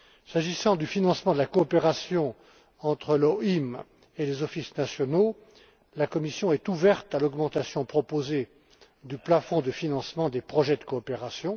S'agissant du financement de la coopération entre l'OHMI et les offices nationaux, la Commission est ouverte à l'augmentation proposée du plafond de financement des projets de coopération.